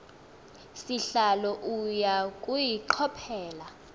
sihlalo uya kuyichophela